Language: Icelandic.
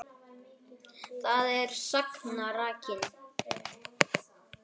Þar er sagan rakin.